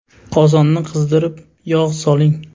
Qozonni qizdirib, yog‘ soling.